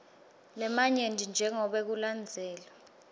lamanyenti njengobe kulandzelwe